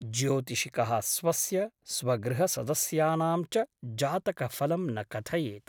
ज्योतिषिकः स्वस्य , स्वगृहसदस्यानां च जातकफलं न कथयेत् ।